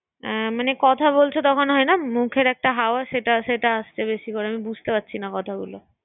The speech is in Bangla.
এ মানে কথা বলছ তখন হয় না মুখের একটা হাওয়া সেটা¬সেটা আটকে গেছিল। আমি বুঝতে পারছি না কথা গুলো।